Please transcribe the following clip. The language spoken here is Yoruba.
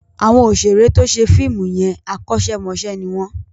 Àwọn òṣèré tó ṣe fíìmù yẹn, akọ́ṣẹ́ mọṣẹ́ ni wọ́n.